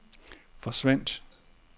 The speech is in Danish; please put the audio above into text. forsvandt